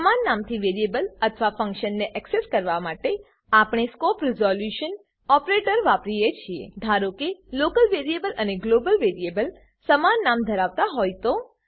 સમાન નામથી વેરીએબલ અથવા ફંક્શનને એક્સેસ કરવા માટે આપણે સ્કોપ રીઝોલ્યુંશન ઓપરેટર વાપરીએ છીએ ધારોકે લોકલ વેરીએબલ અને ગ્લોબલ વેરીએબલ સમાન નામ ધરાવતા હોય તો